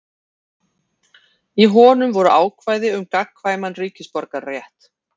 Í honum voru ákvæði um gagnkvæman ríkisborgararétt.